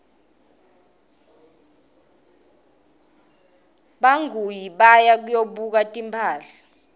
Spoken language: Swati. bangaui baya kuyobuka timphahla